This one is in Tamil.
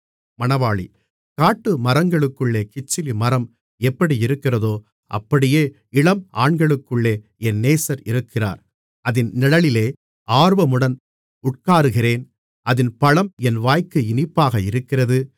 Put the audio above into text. காட்டுமரங்களுக்குள்ளே கிச்சிலி மரம் எப்படியிருக்கிறதோ அப்படியே இளம் ஆண்களுக்குள்ளே என் நேசர் இருக்கிறார் அதின் நிழலிலே ஆர்வமுடன் உட்காருகிறேன் அதின் பழம் என் வாய்க்கு இனிப்பாக இருக்கிறது